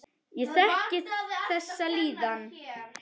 Ég þekki þessa líðan.